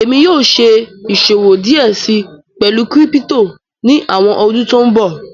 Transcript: ẹ̀mi yóò ṣẹ̀ ìṣọwọ díẹ sí pẹ̀lú kírípítò ní awọn ọdún tó nbọ̀.